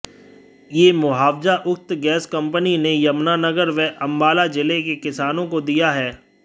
यह मुआवजा उक्त गैस कंपनी ने यमुनानगर व अंबाला जिले के किसानों को दिया है